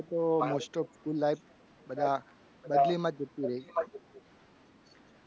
મારે તો most of બધા બદલીમાં જ જતી રહી.